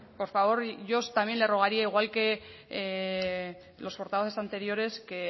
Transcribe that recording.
por favor yo también le rogaría igual que a los portavoces anteriores que